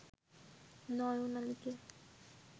নয়ন আলীকে